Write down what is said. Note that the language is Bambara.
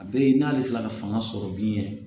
A bɛ yen n'ale sera ka fanga sɔrɔ min yɛrɛ